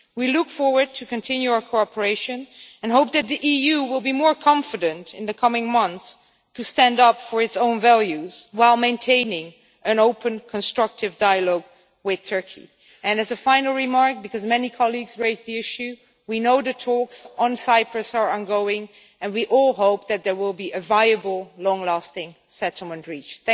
We look forward to continuing our cooperation and hope that the EU will be more confident in the coming months to stand up for its own values while maintaining an open, constructive dialogue with Turkey. As a final remark, because many colleagues raised the issue, we know the talks on Cyprus are ongoing and we all hope that there will be a viable long lasting settlement reached.